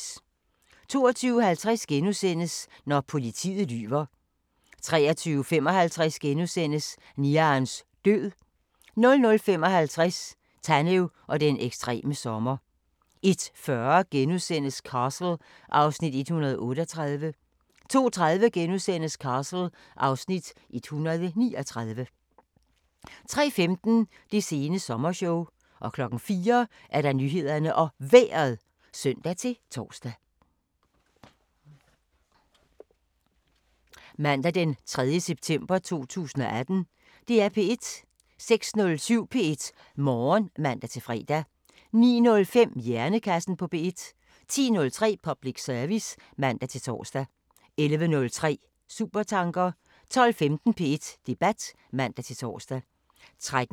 22:50: Når politiet lyver * 23:55: Niarns død * 00:55: Tanev og den ekstreme sommer 01:40: Castle (Afs. 138)* 02:30: Castle (Afs. 139)* 03:15: Det sene sommershow 04:00: Nyhederne og Vejret (søn-tor)